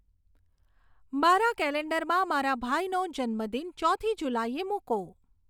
મારા કેલેન્ડરમાં મારા ભાઈનો જન્મદિન ચોથી જુલાઈએ મૂકો